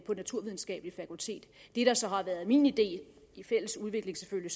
naturvidenskabelige fakultet det der så har været min idé i fælles udvikling selvfølgelig